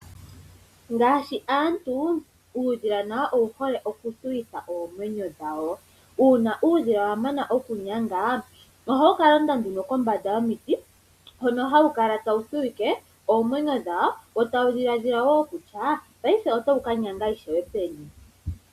Ngaashi aantu, uudhila nawo owuhole oku thuwitha oomwenyo dhawo. Uuna uudhila wamana oku nyanga , ohawu ka londa nduno kombanda yomiti , hono hawu kala tawu thuwike oomwenyo dhawo , wo tawu dhiladhila wo kutya paife otawu ka nyanga peni.